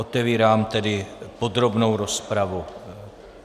Otevírám tedy podrobnou rozpravu.